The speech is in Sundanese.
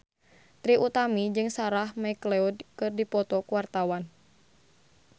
Trie Utami jeung Sarah McLeod keur dipoto ku wartawan